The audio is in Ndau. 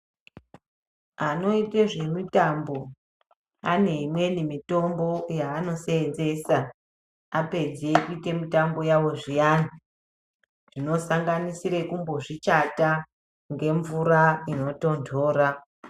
Ano ite zve mitambo ane imweni mitombo yano senzesa apedze kuite mitambo yavo zviyani dzino sanganisira kumbo zvi chata nge mvura ino tondora.